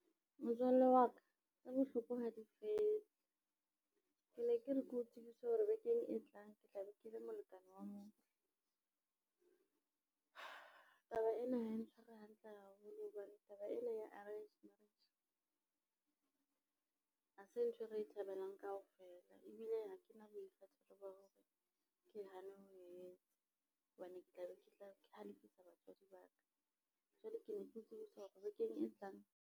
Motswalle wa ka tse bohloko ha di fele. Ke ne ke re ke o tsebise hore bekeng e tlang ke tlabe ke le molekane wa motho. Taba ena ha e ntshware hantle haholo hobane taba ena ya arranged marriage, ha se ntho e re e thabelang kaofela. Ebile ha ke na boikgethelo ba hore ke hane ho e etsa, hobane ke tla be ke halefisa batswadi ba ka. Jwale ke ne ke o tsebisa hore bekeng e tlang.